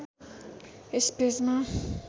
यस पेजमा